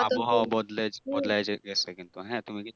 আবহাওয়া বদলাই বদলাইয়া যাইতেছে কিন্তু হ্যাঁ তুমি